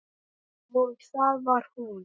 Og það var hún.